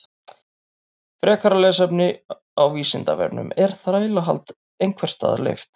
Frekara lesefni á Vísindavefnum Er þrælahald einhvers staðar leyft?